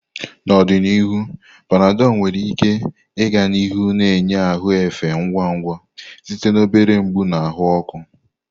N'ọdịnihu, Panadol nwere ike ịga n'ihu na-enye ahụ efe ngwa ngwa site na obere mgbu na ahụ ọkụ.